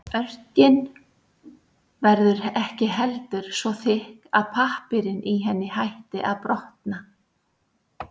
Örkin verður ekki heldur svo þykk að pappírinn í henni hætti að brotna.